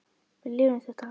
Við lifum þetta af.